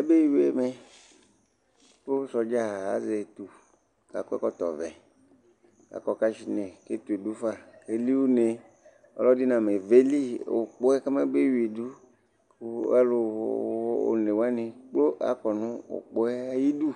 abe wi ɛmɛ kò sɔdza azɛ etu k'akɔ ɛkɔtɔ vɛ akɔ kashnɛ k'ɛtu du fa k'eli une ɔlò ɛdi name veli ukpɔ yɛ k'ɔma be wi du kò alò one wani kplo akɔ no ukpɔ yɛ ayi du